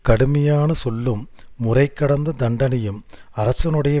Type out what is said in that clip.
கடுமையான சொல்லும் முறைகடந்த தண்டனையும் அரசனுடைய